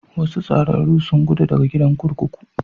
Wasu tsararru sun gudu daga gidan kurkuku.